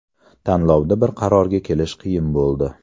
Tanlovda bir qarorga kelish qiyin bo‘ldi.